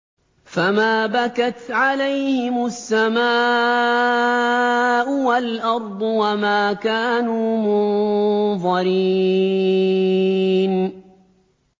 فَمَا بَكَتْ عَلَيْهِمُ السَّمَاءُ وَالْأَرْضُ وَمَا كَانُوا مُنظَرِينَ